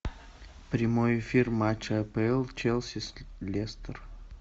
прямой эфир матча апл челси с лестер